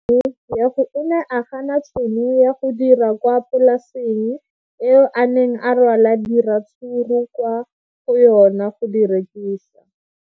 O ne a gana tšhono ya go dira kwa polaseng eo a neng rwala diratsuru kwa go yona go di rekisa.